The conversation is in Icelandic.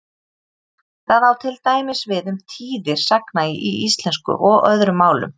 Það á til dæmis við um tíðir sagna í íslensku og öðrum málum.